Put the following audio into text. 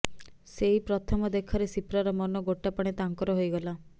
ସେଇ ପ୍ରଥମ ଦେଖାରେ ସିପ୍ରାର ମନ ଗୋଟାପଣେ ତାଙ୍କର ହୋଇଗଲା